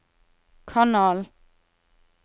kanal